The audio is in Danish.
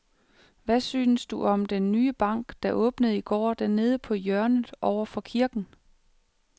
Hvad synes du om den nye bank, der åbnede i går dernede på hjørnet over for kirken?